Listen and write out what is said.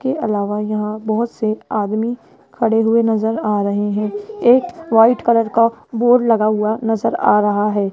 के अलावा यहां बहोत से आदमी खड़े हुए नजर आ रहे हैं एक व्हाइट कलर का बोर्ड लगा हुआ नजर आ रहा है।